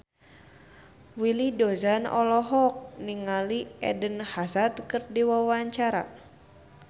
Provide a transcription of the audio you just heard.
Willy Dozan olohok ningali Eden Hazard keur diwawancara